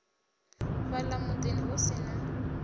fhala mudini hu si na